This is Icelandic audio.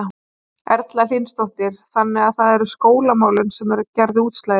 Erla Hlynsdóttir: Þannig að það eru skólamálin sem að gerðu útslagið?